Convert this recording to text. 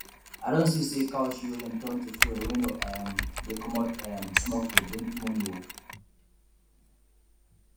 i don see say cow shit wey dem turn to fuel wey no um dey comot um smoke dey bring money o